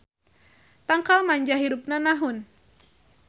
Tangkal manjah hirupna nahun.